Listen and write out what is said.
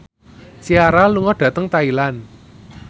Ciara lunga dhateng Thailand